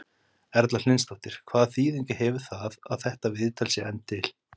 Erla Hlynsdóttir: Hvaða þýðingu hefur það að þetta viðtal sé enn til?